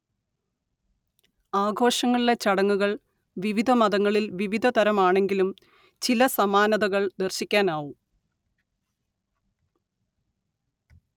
ആഘോഷങ്ങളിലെ ചടങ്ങുകൾ വിവിധമതങ്ങളിൽ വിവിധതരമാണെങ്കിലും ചില സമാനതകൾ ദർശിക്കാനാവും